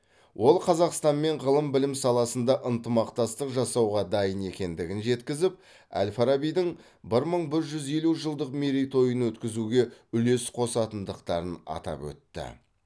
ол қазақстанмен ғылым білім саласында ынтымақтастық жасауға дайын екендігін жеткізіп әл фарабидің бір мың бір жүз елу жылдық мерейтойын өткізуге үлес қосатындықтарын атап өтті